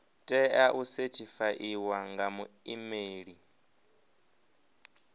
tea u sethifaiwa nga muimeli